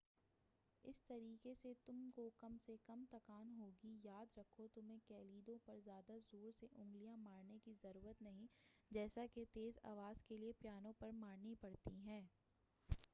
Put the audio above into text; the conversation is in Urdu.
اس طریقہ سے تم کو کم سے کم تکان ہوگی یاد رکھو تمہیں کلیدوں پر زیادہ زور سے انگلیاں مارنے کی ضرورت نہیں جیسا کہ تیز آواز کے لئے پیانو پر مارنی پڑتی ہیں